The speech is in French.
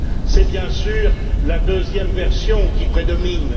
C'est bien sûr la deuxième version qui prédomine.